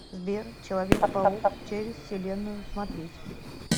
сбер человек паук через вселенную смотреть